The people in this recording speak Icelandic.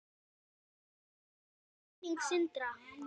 Blessuð sé minning Sindra.